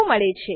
મળે છે